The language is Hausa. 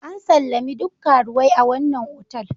An sallami duk karuwai a wannan otal.